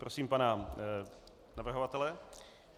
Prosím pana navrhovatele.